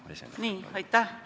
Aitäh!